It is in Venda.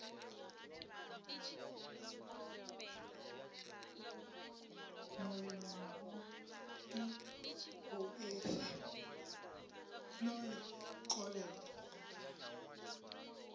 mulimavho ḓivhuisa ḽo no kovhela